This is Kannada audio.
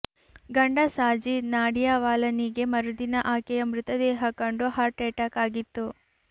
ಗಂಡ ಸಾಜಿದ್ ನಾಡಿಯಾವಾಲಾನಿಗೆ ಮರುದಿನ ಆಕೆಯ ಮೃತದೇಹ ಕಂಡು ಹಾರ್ಟ್ ಅಟ್ಯಾಕ್ ಆಗಿತ್ತು